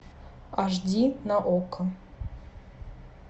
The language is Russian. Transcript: аш ди на окко